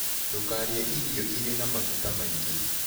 Ndũkarĩe irio ĩrĩ na magũta maĩngĩ